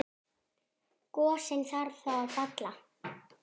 Gosinn þarf þá að falla.